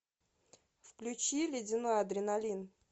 включи ледяной адреналин